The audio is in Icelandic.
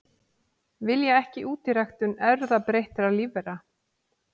Vilja ekki útiræktun erfðabreyttra lífvera